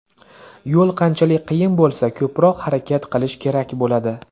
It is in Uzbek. Yo‘l qanchalik qiyin bo‘lsa, ko‘proq harakat qilish kerak bo‘ladi.